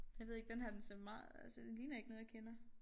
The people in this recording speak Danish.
Jeg ved ikke denne her den ser meget altså den ligner ikke noget jeg kender